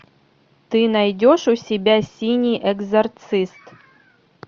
ты найдешь у себя синий экзорцист